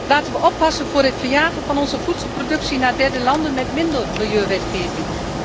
Laten we oppassen voor het verjagen van onze voedselproductie naar derde landen met minder milieuwetgeving.